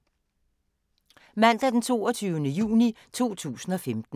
Mandag d. 22. juni 2015